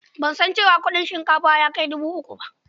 Ban san cewa kuɗin shinkafa ya kai dubu uku ba.